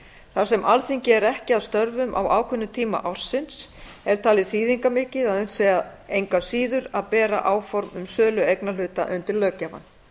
þar sem að alþingi er ekki að störfum á ákveðnum tímum ársins er talið þýðingarmikið að unnt sé engu að síður að bera áform um sölu eignarhluta undir löggjafann